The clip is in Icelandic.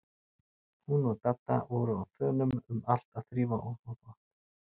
Hún og Dadda voru á þönum um allt að þrífa og þvo þvott.